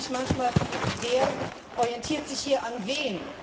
Ich frage mich manchmal, wer orientiert sich hier an wem?